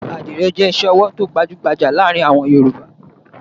Àdìrẹ́ jẹ́ iṣẹ́-ọwọ́ tó gbajú-gbajà láàárin àwọn Yorùbá.